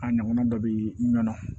A ɲɔgɔnna dɔ bɛ ɲɔnɔn